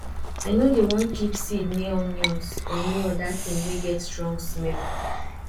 i nor dey dey wan keep seed near onions or any other thing wey get strong smell